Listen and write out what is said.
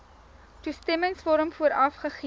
toestemmingsvorm vooraf gegee